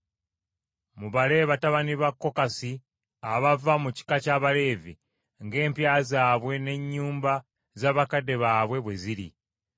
“Mubale batabani ba Kokasi abava mu kika ky’Abaleevi, ng’empya zaabwe n’ennyumba z’abakadde baabwe bwe ziri.